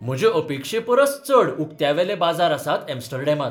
म्हजे अपेक्षे परस चड उकत्यावयले बाजार आसात एम्स्टर्डमांत.